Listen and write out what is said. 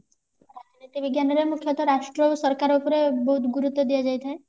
ରାଜନୀତି ବିଜ୍ଞାନରେ ମୁଖ୍ଯତଃ ରାଷ୍ଟ୍ରରୁ ସରକାର ଉପରେ ବହୁତ ଗୁରୁତ୍ଵ ଦିଆଯାଇ ଥାଏ